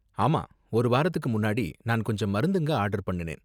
ஆமா, ஒரு வாரத்துக்கு முன்னாடி நான் கொஞ்சம் மருந்துங்க ஆர்டர் பண்ணுனேன்.